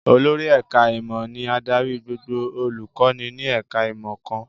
Olórí ẹ̀ká ìmọ̀ ni adarí gbogbo olùkọ́ni ní ẹ̀ká ìmọ̀ kan